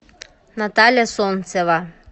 наталья солнцева